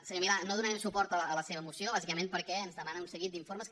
senyor milà no donarem suport a la seva moció bàsicament perquè ens demana un seguit d’informes que